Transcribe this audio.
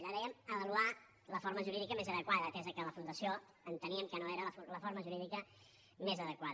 allà dèiem avaluar la forma jurídica més adequada atès que la fundació enteníem no era la forma jurídica més adequada